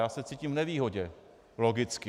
Já se cítím v nevýhodě, logicky.